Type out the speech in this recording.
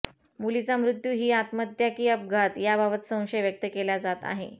मुलीचा मृत्यू ही आत्महत्या की घातपात याबाबत संशय व्यक्त केला जात आहे